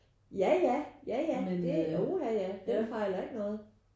Ja ja ja ja det uh ja ja den fejler ikke noget